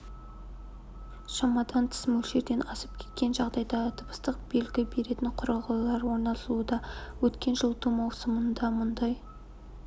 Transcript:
шамадан тыс мөлшерден асып кеткен жағдайда дыбыстық белгі беретін құрылғылар орнатылуда өткен жылыту маусымында мұндай